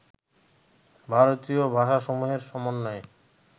ভারতীয় ভাষাসমূহের সমন্বয়ে